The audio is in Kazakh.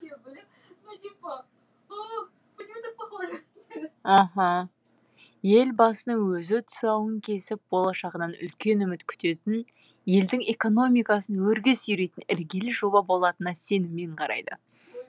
елбасының өзі тұсауын кесіп болашағынан үлкен үміт күтетін елдің экономикасын өрге сүйрейтін іргелі жоба болатынына сеніммен қарайды